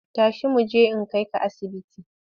Tashi mu je in kai ka asibiti!